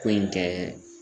Ko in kɛ